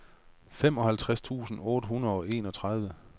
femoghalvtreds tusind otte hundrede og enogtredive